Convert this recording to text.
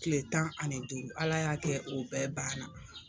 Tile tan ani duuru Ala y'a kɛ o bɛɛ banna.